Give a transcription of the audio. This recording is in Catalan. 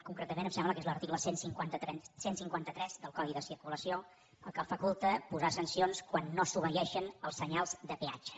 concretament em sembla que és l’article cent i cinquanta tres del codi de circulació el que faculta posar sancions quan no s’obeeixen els senyals de peatge